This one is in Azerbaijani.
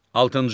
Altıncı.